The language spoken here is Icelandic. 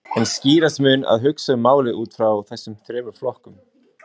En skýrast mun að hugsa um málið út frá þessum þremur flokkum.